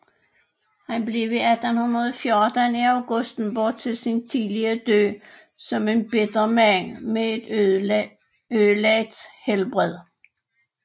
Han blev i 1814 i Augustenborg til sin tidlige død som en bitter mand med et ødelagt helbred